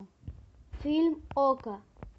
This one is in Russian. фильм окко